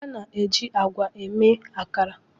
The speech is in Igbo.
A na-eji ágwà eme ihe iji mee akara.